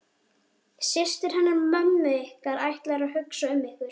Systur hennar mömmu ykkar ætla að hugsa um ykkur.